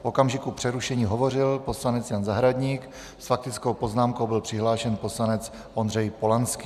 V okamžiku přerušení hovořil poslanec Jan Zahradník, s faktickou poznámkou byl přihlášen poslanec Ondřej Polanský.